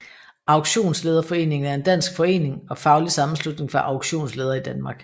Auktionslederforeningen er en dansk forening og faglig sammenslutning for auktionsledere i Danmark